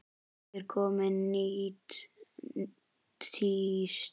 Er komið nýtt tíst?